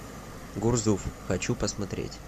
гурзуф хочу посмотреть